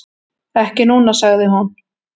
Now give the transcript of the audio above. """Ekki núna, sagði hún."""